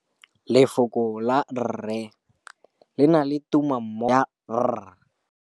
Lefoko la rre, le na le tumammogôpedi ya, r.